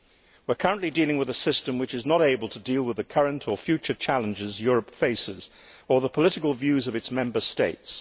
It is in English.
We are currently dealing with a system which is not able to deal with the current or future challenges Europe faces or the political views of its Member States.